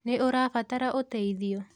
Nĩ ũrabatara ũteithio?